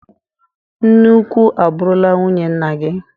Nne ukwu abụrụla nwunye nna gi.